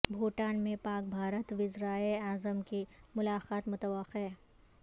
بھوٹان میں پاک بھارت وزرائے اعظم کی ملاقات متوقع